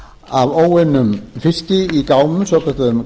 af óunnum fiski í gámum svokölluðum